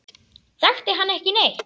Þekkti hann ekki neitt.